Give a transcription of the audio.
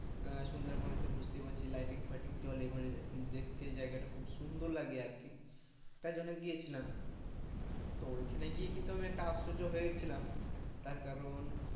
আহ সন্ধ্যার পরের টা বুজতেই পারছিস lighting টইটিং জলে মানে দেখতে জায়গা তা খুব সুন্দর লাগে আর কি, তাই জন্য গিয়েছিলাম তো ওখানে গিয়ে কিন্তু আমি একটা আশ্চর্য হয়েছিলাম তার কারণ,